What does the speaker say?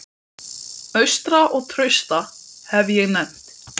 Og það sem hann Grettir var ánægður með þessa breytingu!